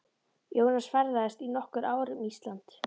Jónas ferðaðist í nokkur ár um Ísland.